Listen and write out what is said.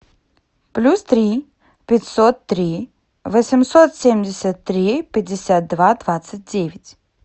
плюс три пятьсот три восемьсот семьдесят три пятьдесят два двадцать девять